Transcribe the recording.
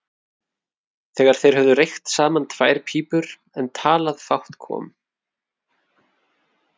Þegar þeir höfðu reykt saman tvær pípur en talað fátt kom